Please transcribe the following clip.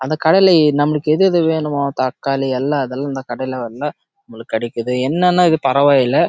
நம்மளுக்கு எது எது வேணும் ஒ தக்காளி அது எல்லாமே அந்த கடையே கிடைக்குது